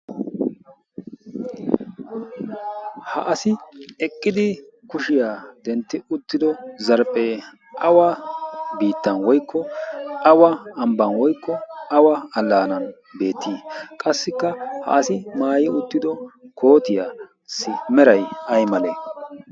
ha asi eqqidi kushiyaa dentti uttido zarphphee awa biittan woykko awa ambban woykko awa allaanan beettii qassikka ha asi maayi uttido kootiyaassi meray ay malee?